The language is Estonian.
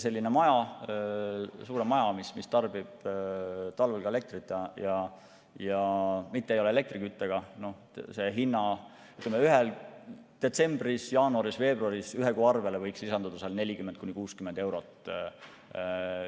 Sellise suurema maja puhul, mis tarbib talvel ka elektrit ja ei ole elektriküttega, võiks detsembris, jaanuaris ja veebruaris ühe kuu arvele lisanduda 40–60 eurot.